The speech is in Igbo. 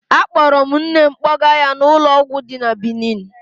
Akpọrọ m nne m kpọga ya n'ụlọ ọgwụ dị na Benin.